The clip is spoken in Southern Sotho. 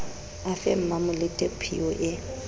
a fe mmamolete phiyo e